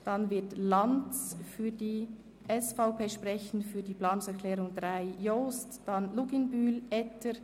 Anschliessend wird Grossrat Lanz für die SVP sprechen, gefolgt von den Grossrat Jost, Grossrätin Luginbühl und Grossrat Etter.